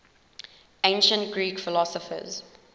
ancient greek philosophers